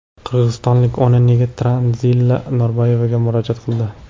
qirg‘izistonlik ona nega Tanzila Norboyevaga murojaat qildi?.